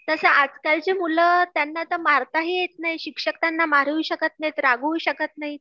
तसं आजकालचे मुलं त्यांना ते मारता ही येत नाही शिक्षक त्यांना मारूही शकत नाही रागवू शकत नाहीत